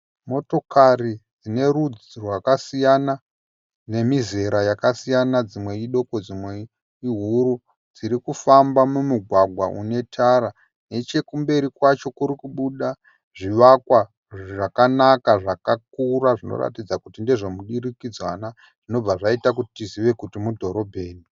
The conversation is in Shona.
Motokari dzine rudzi rwakasiyana nemizera yakasiyana dzimwe idoko dzimwe ihuru dziri kufamba mumugwagwa une tara nechekumberi kwacho kuri kubuda zvivakwa zvakanaka zvakakura zvinoratidza kuti ndezve mudurikidzanwa zvinobva zvaita kuti tizive kuti mudhorobheni.